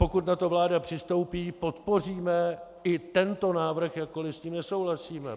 Pokud na to vláda přistoupí, podpoříme i tento návrh, jakkoliv s ním nesouhlasíme.